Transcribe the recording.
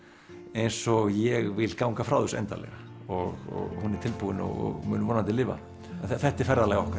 eins og ég vil ganga frá þessu endanlega og hún er tilbúin og mun vonandi lifa þetta er ferðalag okkar